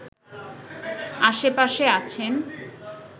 আশেপাশে আছেন